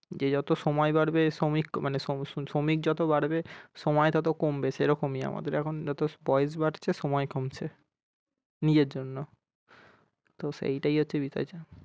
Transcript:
যে যত সময় বাড়বে শ্রমিক মানে শ্রমিক যত বাড়বে সময় তত কমবে সেরকমই আমাদের এখন যত বয়স বাড়ছে সময় কমছে নিজের জন্য তো সেইটাই হচ্ছে বিষয় টা